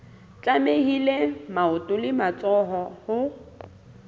tlamehile maoto le matsoho ho